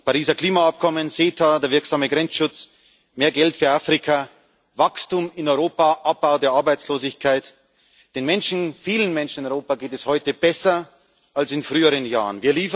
Das Pariser Klimaabkommen, CETA, der wirksame Grenzschutz, mehr Geld für Afrika, Wachstum in Europa, Abbau der Arbeitslosigkeit Den Menschen, vielen Menschen in Europa, geht es heute besser als in früheren Jahren.